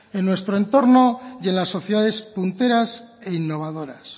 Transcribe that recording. en nuestro entorno y en las sociedades punteras e innovadoras